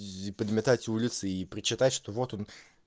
иди подметать улицы и прочитать что вот он